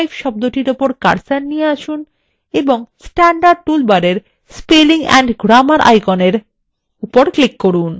এখন husewife শব্দটির উপর cursor নিয়ে আসুন এবং standard টুল বারের মধ্যে spelling and grammar আইকনের উপর click করুন